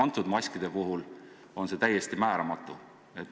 Nende maskide puhul on see täiesti määramatu.